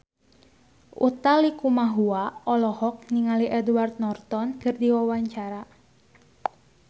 Utha Likumahua olohok ningali Edward Norton keur diwawancara